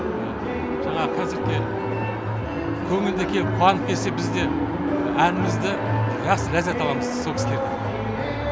жаңағы концертке көңілді келіп қуанып кетсе біз де әнімізді жақсы ләззат аламыз сол кісілерден